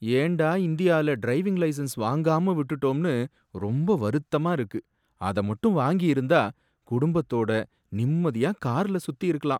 ஏன்டா இந்தியால driving licence வாங்காம விட்டுடோம்னு ரொம்ப வருத்தமா இருக்கு. அத மட்டும் வாங்கி இருந்தா குடும்பத்தோட நிம்மதியா கார்ல சுத்தி இருக்கலாம்.